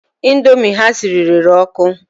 Indomie ha siri rere ọkụ